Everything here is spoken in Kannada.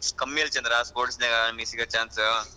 ಕಮ್ಮಿ ಇದೆ ಚಂದ್ರ sports ನಾಗ ನಮ್ಗೆ ಸಿಗೋ chance ಉ.